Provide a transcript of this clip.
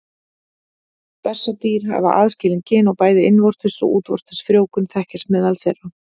Bessadýr hafa aðskilin kyn og bæði innvortis og útvortis frjóvgun þekkist meðal þeirra.